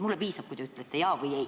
Mulle piisab, kui te ütlete jaa või ei.